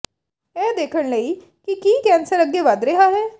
ਇਹ ਦੇਖਣ ਲਈ ਕਿ ਕੀ ਕੈਂਸਰ ਅੱਗੇ ਵਧ ਰਿਹਾ ਹੈ